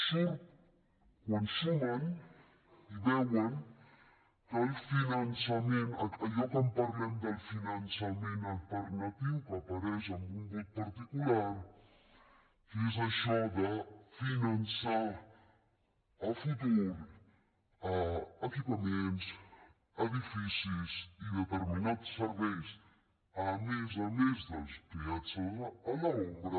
surt quan sumen i veuen que el finançament allò que parlem del finançament alternatiu que apareix amb un vot particular que és això de finançar a futur equipaments edificis i determinats serveis a més a més dels peatges a l’ombra